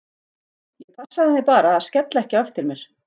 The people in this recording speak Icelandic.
Ég passaði mig bara að skella ekki á eftir mér.